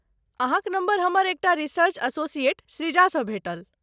अहाँक नम्बर हमर एकटा रिसर्च एसोसिएट सृजासँ भेटल।